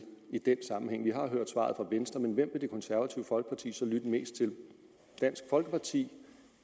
i den sammenhæng vi har hørt svaret fra venstre men hvem vil det konservative folkeparti så lytte mest til dansk folkeparti